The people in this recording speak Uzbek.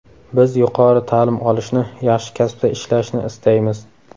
Biz yuqori ta’lim olishni, yaxshi kasbda ishlashni istaymiz.